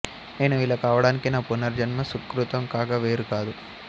నేను ఇలా కావడానికి నా పూర్వజన్మ సుకృతం కాక వేరు కాదు